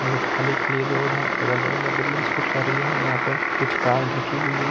खाली-खाली रोड है अगल-बगल में बिल्डिंग्स खूब सारी है यहां पे कुछ कार ढकी हुई है।